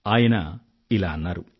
ఆయన ఇలా అన్నారు